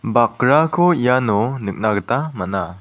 bakrako iano nikna gita man·a.